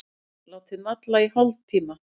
Látið malla í hálftíma.